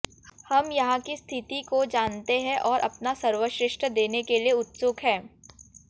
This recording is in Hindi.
हम यहां कि स्थिति को जानते हैं और अपना सर्वश्रेष्ठ देने के लिए उत्सुक हैं